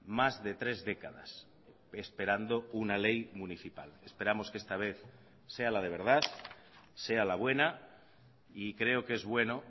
más de tres décadas esperando una ley municipal esperamos que esta vez sea la de verdad sea la buena y creo que es bueno